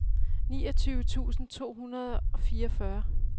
niogtyve tusind to hundrede og fireogfyrre